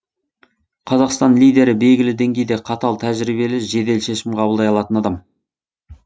қазақстан лидері белгілі деңгейде қатал тәжірибелі жедел шешім қабылдай алатын адам